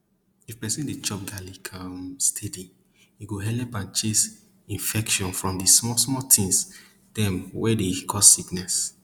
if person dey chop garlic um steady e go helep chase infection from di small small thing dem wey dey cause sickness